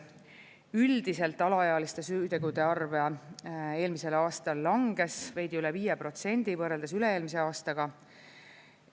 Üldiselt alaealiste süütegude arv eelmisel aastal langes, veidi üle 5% võrreldes üle-eelmise aastaga.